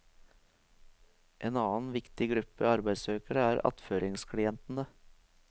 En annet viktig gruppe arbeidssøkere er attføringsklientene.